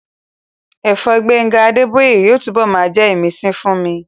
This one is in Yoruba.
Ẹ̀fẹ̀ Gbénga Adébóyè yóò túnbọ̀ máa jẹ́ ìmísí fún mi